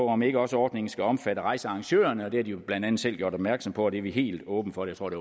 om ikke også ordningen skal omfatte rejsearrangørerne de har jo blandt andet selv gjort opmærksom på det er vi helt åbne for jeg tror det